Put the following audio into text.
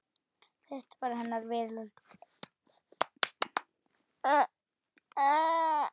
Þetta var hennar veröld.